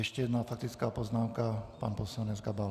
Ještě jedna faktická poznámka, pan poslanec Gabal.